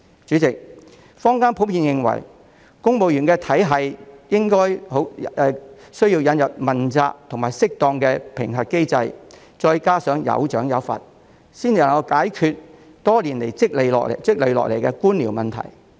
主席，坊間普遍認為，公務員體系亦需引入問責及適當的評核機制，加上有賞有罰，才能解決多年來積累下來的官僚問題。